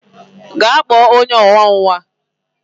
Gaa kpọọ onye na awọ nwa!